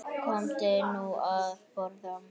Komdu nú að borða